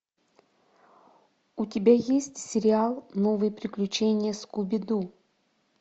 у тебя есть сериал новые приключения скуби ду